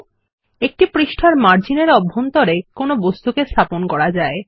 000046 000042 একটি পাতায় পৃষ্ঠা মার্জিন এর অভ্যন্তরে কোনো বস্তুকে স্থাপন করা যায়